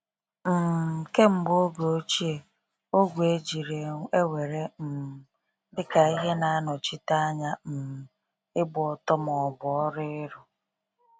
um Kemgbe oge ochie, ogwe ejiri ewere um dị ka ihe na-anọchite anya um ịgba ọtọ ma ọ bụ ọrụ ịrụ.